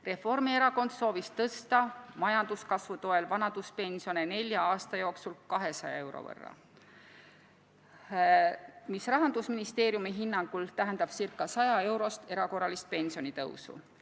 Reformierakond soovis majanduskasvu toel tõsta vanaduspensione nelja aasta jooksul 200 euro võrra, mis Rahandusministeeriumi hinnangul tähendab ca 100-eurost erakorralist pensionitõusu.